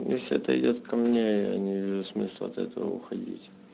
если это идёт ко мне я не вижу смысла от этого уходить